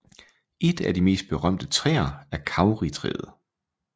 Et af de mest berømte træer er Kauritræet